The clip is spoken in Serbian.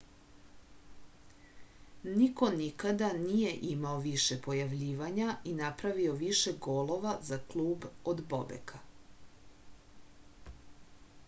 niko nikada nije imao više pojavljivanja i napravio više golova za klub od bobeka